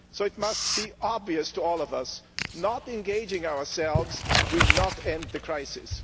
So it must be obvious to all of us not engaging ourselves will not end the crisis.